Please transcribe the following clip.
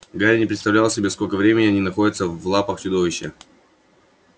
гарри не представлял себе сколько времени они находятся в лапах чудовища